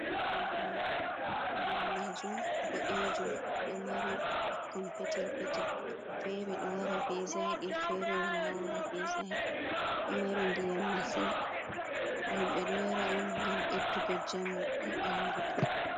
Kanka nder majum boɗejum ɗo mari ɓikkon petel petel. fere ɗo wara be zaqi, fere wala wara bezaqi. ɗomari ndiyam masin himɓe ɗo yara on ngam ɓeddugo njamu haɓandu.